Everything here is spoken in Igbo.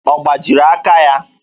Ọ gbajiri aka ya?